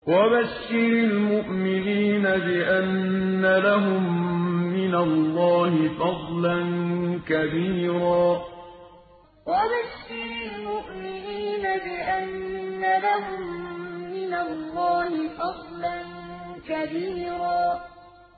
وَبَشِّرِ الْمُؤْمِنِينَ بِأَنَّ لَهُم مِّنَ اللَّهِ فَضْلًا كَبِيرًا وَبَشِّرِ الْمُؤْمِنِينَ بِأَنَّ لَهُم مِّنَ اللَّهِ فَضْلًا كَبِيرًا